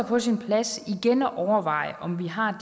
på sin plads igen at overveje om vi har